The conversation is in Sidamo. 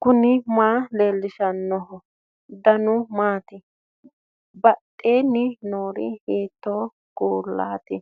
knuni maa leellishanno ? danano maati ? badheenni noori hiitto kuulaati ?